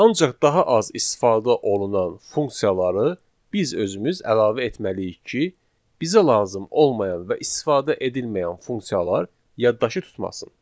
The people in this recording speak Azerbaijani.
Ancaq daha az istifadə olunan funksiyaları biz özümüz əlavə etməliyik ki, bizə lazım olmayan və istifadə edilməyən funksiyalar yaddaşı tutmasın.